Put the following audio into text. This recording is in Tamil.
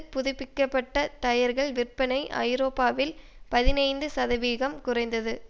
புதுப்பிக்க பட்ட டயர்கள் விற்பனை ஐரோப்பாவில் பதினைந்து சதவிகம் குறைந்தது